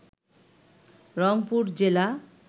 রংপুর জেলা